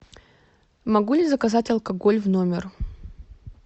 могу ли заказать алкоголь в номер